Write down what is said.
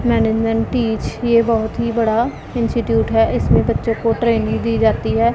Management teach ये बहुत ही बड़ा इंस्टिट्यूट है इसमें बच्चों को ट्रेनिंग दी जाती है।